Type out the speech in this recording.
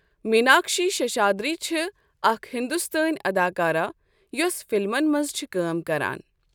میناکشی سشہادری چھِ اَکھ ہِندوستٲنؠ اَداکارہ یۄس فِلمَن مَنٛز چھِ کٲم کَران۔